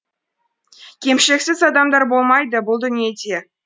кемшіліксіз адамдар болмайды бұл дүниеде